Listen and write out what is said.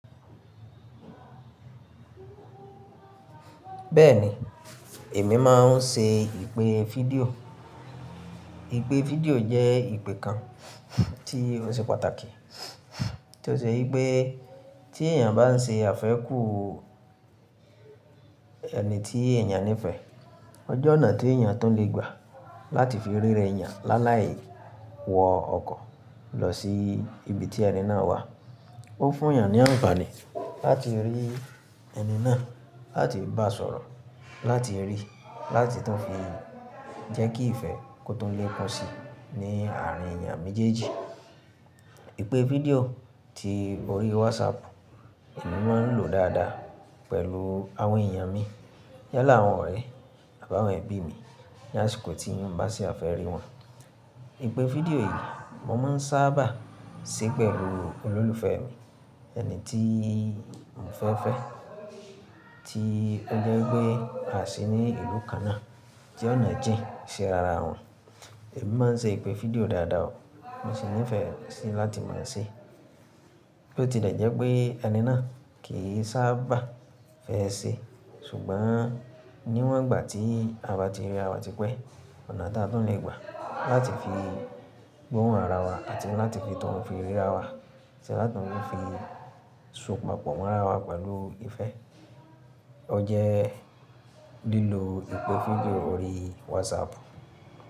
Bẹ́ẹ̀ni, èmi máa ń ṣe ìpè fídíò. Ìpè fídíò jẹ́ ìpè kan tí ó ṣe pàtàkì, tí ó ṣe pé tí èèyàn bá ń ṣe àfẹ́ kù ẹni tí èèyàn nífẹ̀ẹ́, ọ jẹ̀ ọ̀nà tí èèyàn tún le gbà láti fi ríra èèyàn láláì wọ ọkọ̀ lọ sí ibi tí ẹni náà wà. Ó fún èèyàn ní àǹfààní láti rí ẹni náà, láti bá sọ̀rọ̀, láti rí, láti tún fi jẹ́ kí ìfẹ́ kó tó le pọ̀n sí ní àárín èèyàn méjèèjì. Ìpè fídíò tí orí WhatsApp, èmi máa ń lò dáadáa pẹ̀lú àwọn èèyàn mi yálà àwọn ọ̀rẹ́ àbá àwọn ẹbí mi, ní àsìkò tí mo bá ṣe àfẹ́ rí wọn. Ìpè fídíò yìí mo máa ń sábà ṣe pẹ̀lú olólùfẹ́ mi, ẹni tí mo fẹ́ fẹ́, tí ó jẹ́ pé a sì ní ìlú kan náà. Ti ọ̀nà jìn ṣi ara wọn. Èmi máa ń ṣe ìpè fídíò dáadáa o, mo sì nífẹ̀ẹ́ síi láti máa ṣe. Bí ó tilẹ̀ jẹ́ wipé ẹni náà kì í sábà fẹ́ ṣe, ṣùgbọ́n níwọ̀n ìgbà tí ara ti riràwa ti pẹ́, ọ̀nà tí a tun lè gbà láti fi gbọ́hùn ara wa àti láti fi tọ̀hún fi ríra wa àti láti mú un fi so papọ̀ mọ́ ara wa pẹ̀lú ìfẹ́, ọ jẹ́ lílo ìpè fídíò orí WhatsApp.